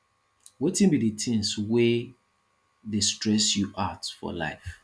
wetin be di things wey dey stress you out for life